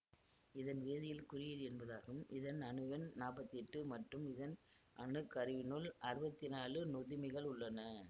இதன் வேதியியல் குறியீடு என்பதாகும் இதன் அணுவெண் நாப்பத்தி எட்டு மற்றும் இதன் அணுக்கருவினுள் அறுவத்தி நாலு நொதுமிகள் உள்ளன